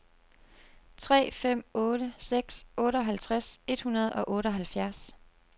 tre fem otte seks otteoghalvtreds et hundrede og otteoghalvfjerds